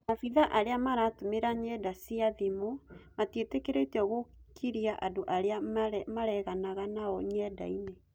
Maabithaa arĩa maratũmĩra nyenda cĩa thimũ matietekeretio gũkiria andũ arĩa mareganaga nao nyendaine